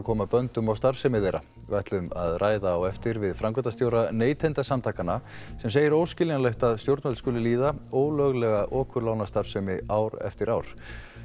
koma böndum á starfsemi þeirra við ætlum að ræða á eftir við framkvæmdastjóra Neytendasamtakanna sem segir óskiljanlegt að stjórnvöld skuli líða ólöglega okurlánastarfsemi ár eftir ár